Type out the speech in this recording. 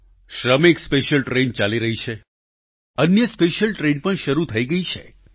શ્રમિક special train ચાલી રહી છે અન્ય સ્પેશિયલ ટ્રેન પણ શરૂ થઈ ગઈ છે